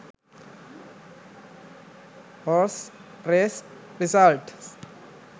horse race results